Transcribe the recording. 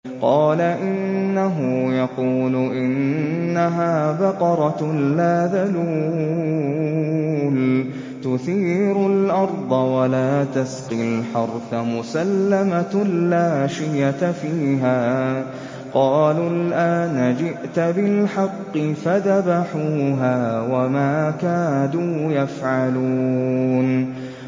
قَالَ إِنَّهُ يَقُولُ إِنَّهَا بَقَرَةٌ لَّا ذَلُولٌ تُثِيرُ الْأَرْضَ وَلَا تَسْقِي الْحَرْثَ مُسَلَّمَةٌ لَّا شِيَةَ فِيهَا ۚ قَالُوا الْآنَ جِئْتَ بِالْحَقِّ ۚ فَذَبَحُوهَا وَمَا كَادُوا يَفْعَلُونَ